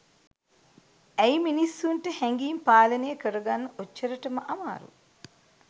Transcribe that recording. ඇයි මිනිස්සුන්ට හැඟීම් පාලනය කරගන්න ඔච්චරටම අමාරු